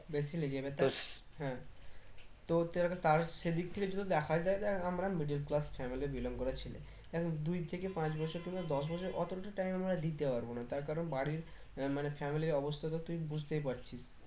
বেশি লেগে যাবে হ্যাঁ সেদিক থেকে যদি দেখা যায় দেখ আমরা middle class family belong করা ছেলে দুই থেকে পাঁচ বছর কিংবা দশ বছর অতো তো time আমরা দিতে পারবো না তার কারণ বাড়ির মানে family র অবস্থা তো তুই বুঝতেই পারছিস